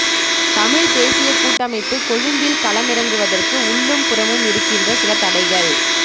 தமிழ்த்தேசியக் கூட்டமைப்பு கொழும்பில் களமிறங்குவதற்கு உள்ளும் புறமும் இருக்கின்ற சில தடைகள்